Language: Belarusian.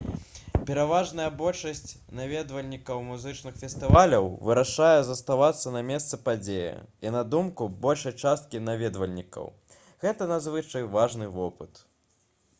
пераважная большасць наведвальнікаў музычных фестываляў вырашае заставацца на месцы падзеі і на думку большай часткі наведвальнікаў гэта надзвычай важны вопыт